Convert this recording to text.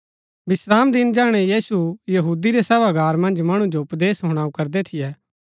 विश्रामदिन जैहणै यीशु यहूदी रै सभागार मन्ज मणु जो उपदेश हणाऊ करदै थियै